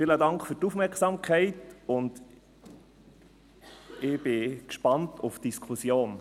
Vielen Dank für die Aufmerksamkeit, und ich bin gespannt auf die Diskussion.